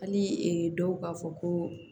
Hali dɔw b'a fɔ ko